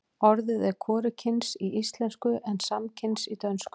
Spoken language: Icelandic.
orðið er hvorugkyns í íslensku en samkyns í dönsku